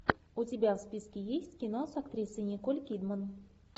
у тебя в списке есть кино с актрисой николь кидман